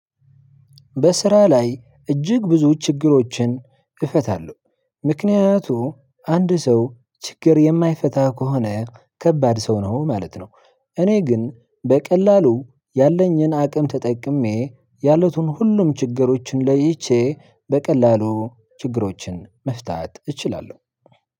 በስራ ላይ እጅግ ብዙ ችግሮችን እፈታለሁ። ምክንያቱም አንድ ሰው ችግር የማይፈታ ከሆነ ከባድ ሰው ነው ማለት ነው። እኔ ግን በቀላሉ ያለኝን አቅም ተጠቅሜ ያሉትን ሁሉም ችግሮችን ለይቼ በቀላሉ ችግሮችን መፍታት እችላለሁ።